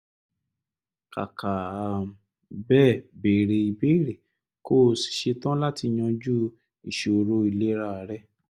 kàkà um bẹ́ẹ̀ béèrè ìbéèrè kó o sì ṣe tán láti yanjú ìṣòro ìlera rẹ